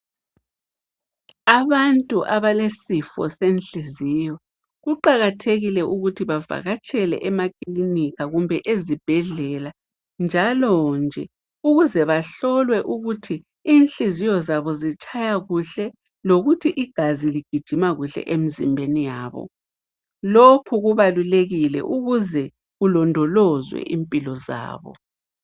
Abantu abalesifo senhliziyo kuqakathekile ukuthi bavakatshele emaklinika kumbe ezibhedlela njalonje. Ukuze bahlolwe ukuthi inhliziyo zabo zitshaya kuhle, lokuthi igazi ligijima kuhle emzimbeni yabo. Lokhu kubalulekile ukuze kulondolozwe impilo zabo.